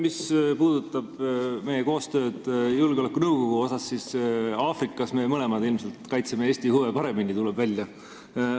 Mis puudutab meie koostööd julgeolekunõukogu asjus, siis Aafrikas me kaitseme mõlemad Eesti huve ilmselt paremini, tuleb nii välja.